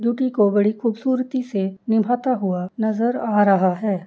Duty को बड़ी खूबसूरती से निभाता हुआ नजर आ रहा है।